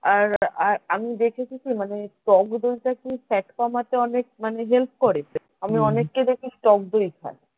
আর আর আমি দেখেছি যে মানে টক দই টা কি fat কমাতে অনেক মানে হেল্প করে আমি অনেককে দেখি টক দই খায়